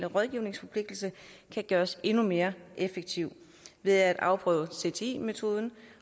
rådgivningsforpligtelse kan gøres endnu mere effektiv ved at afprøve cti metoden